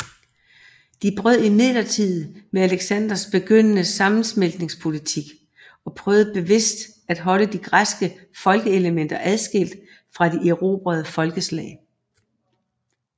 De brød imidlertid med Alexanders begyndende sammensmeltningspolitik og prøvede bevidst at holde de græske folkeelementer adskilt fra de erobrede folkeslag